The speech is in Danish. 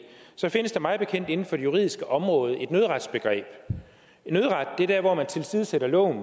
findes der mig bekendt inden for det juridiske område et nødretsbegreb nødret er der hvor man tilsidesætter loven